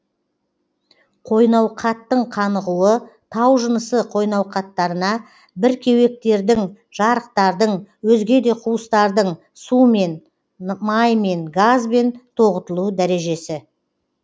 қойнауқаттың қанығуы тау жынысы қойнауқаттарына бір кеуектердің жарықтардың өзге де куыстардың сумен маймен газбен тоғытылу дәрежесі